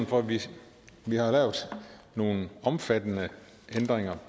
fordi vi har erhvervet nogle omfattende ændringer